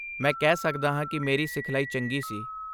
ਮੈਂ ਕਹਿ ਸਕਦਾ ਹਾਂ ਕਿ ਮੇਰੀ ਸਿਖਲਾਈ ਚੰਗੀ ਸੀ।